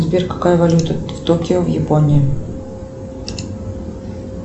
сбер какая валюта в токио в японии